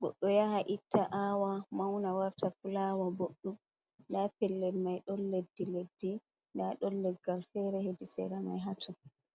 goɗɗo yaha itta awa mauna warta fulawa boɗɗum. nda pellel mai ɗon leddi leddi nda ɗon leggal fere hedi sera mai hatun.